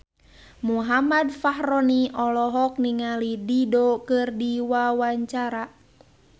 Muhammad Fachroni olohok ningali Dido keur diwawancara